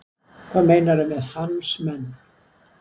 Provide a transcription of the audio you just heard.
Hvað meinarðu með hans menn?